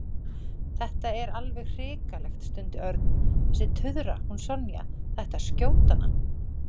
Þetta er alveg hrikalegt stundi Örn. Þessi tuðra, hún Sonja, það ætti að skjóta hana